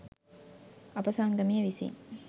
අප සංගමය විසින්